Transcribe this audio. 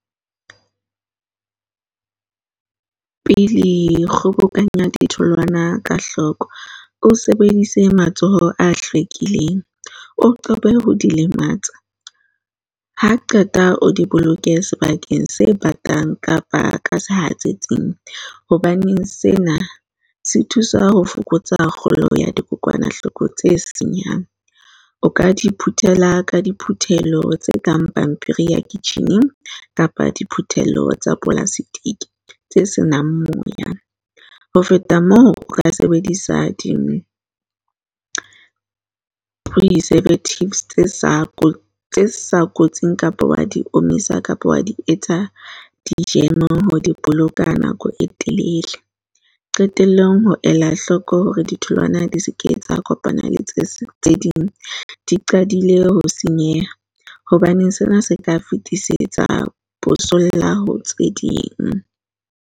Pepile kgobokanya ditholwana ka hloko. O sebedise matsoho a hlwekileng, o qobe ho di lematsa. Ha qeta o di boloke sebakeng se batang kapa ka sehatsetsing. Hobaneng sena se thusa ho fokotsa kgolo ya dikokwanahloko tse senyang. O ka di phuthela ka diphuthelo tse kang pampiri ya kitjhineng kapa diphuthelo tsa polastiki tse senang moya. Ho feta moo, o ka sebedisa di-preservative tse sa kotsi sa kotsi kapo wa di omisa kapa wa di etsa di-jam ho di boloka nako e telele. Qetellong, ho ela hloko hore ditholwana di se ke tsa kopana le tse tse ding, di qadile ho senyeha hobaneng sena se ka fetisetsa bosolla ho tse ding.